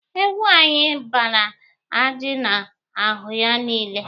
Ewu anyị gbara ajị n'ahụ ya niile.